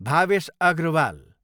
Bhavesh Agrawal